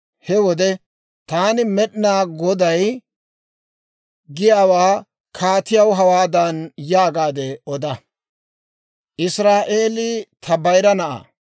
He wode taani Med'inaa Goday, giyaawaa kaatiyaw hawaadan yaagaade oda; ‹ «Israa'eelii ta bayira na'aa.